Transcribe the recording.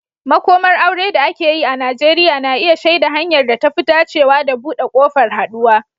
Makomar aure da ake yi a Najeriya na iya shaida hanyar da ta fi dacewa da buɗe ƙofar haɗuwa.